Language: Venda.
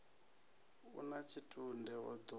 u na tshitunde o ḓo